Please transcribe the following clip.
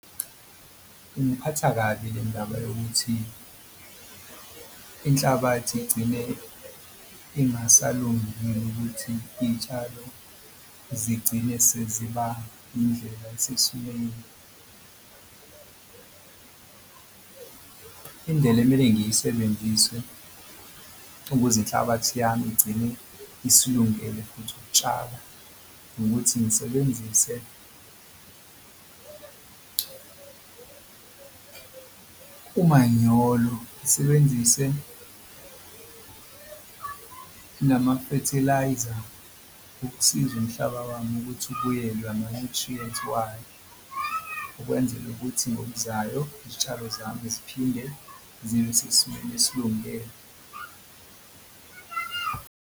Ingiphatha kabi le ndaba yokuthi inhlabathi igcine ingasalungile ukuthi iy'tshalo zigcine seziba indlela esesimeni. Indlela emele ngiyisebenzise ukuze inhlabathi yami igcine isilungele futhi ukutshala nokuthi ngisebenzise umanyolo ngisebenzise namafethelayiza ukusiza umhlaba wami ukuthi ubuyelwe ama-nutrients wayo ukwenzele ukuthi ngokuzayo izitshalo zami ziphinde zibe sesimeni esilungele.